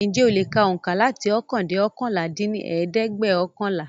Ǹjẹ̀ o le ka oùnkà láti ókan dẹ́ oókànlá dín ní ẹ̀ẹ́dẹ́gbẹ́ọ̀kànlá?